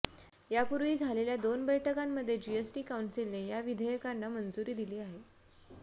यापूर्वी झालेल्या दोन बैठकामंध्ये जीएसटी कौन्सिलने या विधेयकांना मंजुरी दिली आहे